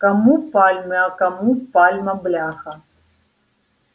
кому пальмы а кому пальма бляха